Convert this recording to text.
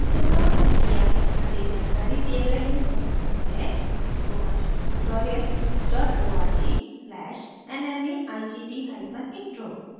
अधिक जानकारी दिए गए लिंक पर उपलब्ध है spoken hyphen tutorial dot org slash nmeict hyphen intro